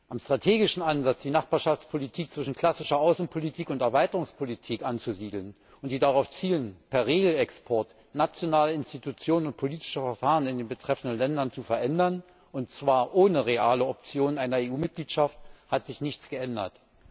Am strategischen Ansatz, die Nachbarschaftspolitik zwischen klassischer Außenpolitik und Erweiterungspolitik anzusiedeln, die darauf zielen, per Regel Export nationale Institutionen und politische Verfahren in den betreffenden Ländern zu verändern, und zwar ohne reale Option einer EU Mitgliedschaft, hat sich nichts geändert.